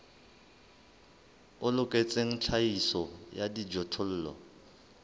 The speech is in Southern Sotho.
o loketseng tlhahiso ya dijothollo